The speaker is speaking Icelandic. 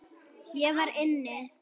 Ég var inni.